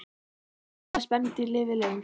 Hvaða spendýr lifir lengst?